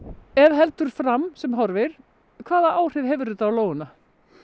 ef heldur fram sem horfir hvaða áhrif hefur það á lóuna